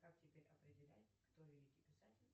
как теперь определять кто великий писатель